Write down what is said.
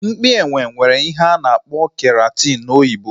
Mpi ele nwere ihe a na-akpọ keratin n'oyibo